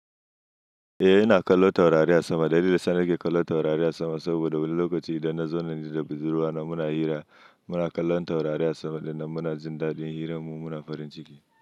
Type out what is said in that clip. Eh, ina kallon taurari a sama. Dalilin da sane ke kallon taurari a sama saboda wani lokaci idan na zaune ni da budurwa na muna hira, muna kallon taurari a sama dinnan muna jin daɗin hiranmu muna farin ciki.